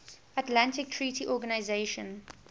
atlantic treaty organisation